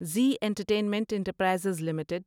Zee Entertainment Enterprises limited